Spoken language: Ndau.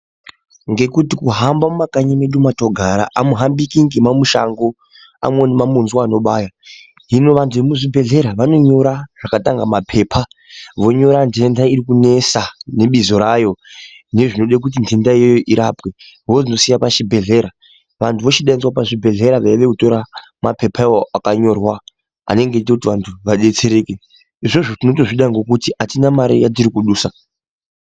Ngekuti kuhamba mumakanyi medu matinogara hamuhambiki nemamushango amweni mamunzwa anobaya hino vantu vekuzvibhehleya vanonyora zvakatanga mapepa vonyora ndenda iri kunesa nebizo rayo nezvinoda kuti ndendayo irapwe vozosiya pachibhehleya vantu vozodaidzwa pachibhehleya veuya kotora mapepa akanyorwa anenge achita kuti vantu vadetsereke izvozvo tinozvida nekuti hatina mare yatiri kudusa.